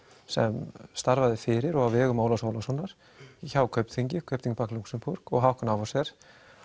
sem starfaði fyrir og á vegum Ólafs Ólafssonar hjá Kaupþingi Kaupþing í Lúxemborg og Hauck og Aufhäuser